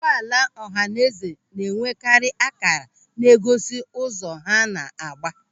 Ụgbọala ọhanaeze na-enwekarị ákàrà na-egosi ụzọ ha na-agba.